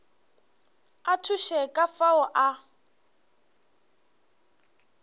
a thuše ka fao a